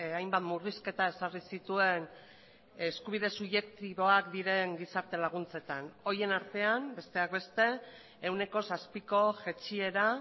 hainbat murrizketa ezarri zituen eskubide subjektiboak diren gizarte laguntzetan horien artean besteak beste ehuneko zazpiko jaitsiera